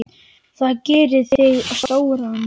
Það gerir þig stóran.